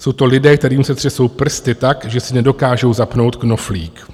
Jsou to lidé, kterým se třesou prsty tak, že si nedokážou zapnout knoflík.